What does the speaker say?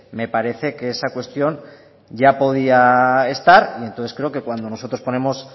me parece que esa cuestión ya podía estar entonces creo que cuando nosotros ponemos